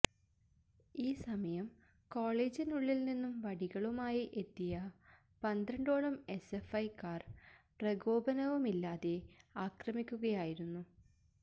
ഈസമയം കോളേജിനുള്ളില് നിന്ന് വടികളുമായി എത്തിയ പന്ത്രണ്ടോളം എസ്എഫ്ഐക്കാര് പ്രകോപനവുമില്ലാതെ ആക്രമിക്കുകയായിരുന്നു